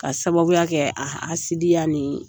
Ka sababuya kɛ a hasidiya ni